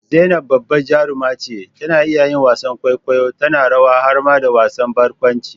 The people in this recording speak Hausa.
zainab babbar jaruma ce, tana iya yin wasan kwaikwayo, tana rawa har ma da wasan barkwanci